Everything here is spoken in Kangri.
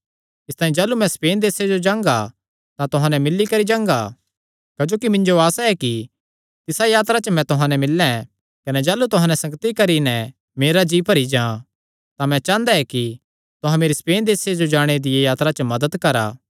इसतांई जाह़लू मैं स्पेन देसे जो जांगा तां तुहां नैं मिल्ली करी जांगा क्जोकि मिन्जो आसा ऐ कि तिसा यात्रा च तुहां नैं मिल्लैं कने जाह़लू तुहां नैं संगति करी नैं मेरा जी भरी जां तां मैं चांह़दा ऐ कि तुहां मेरी स्पेन देसे जो जाणे दिया यात्रा च मदत करा